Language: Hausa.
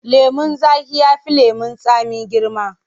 Lemon zaƙi ya fi lemon tsami girma.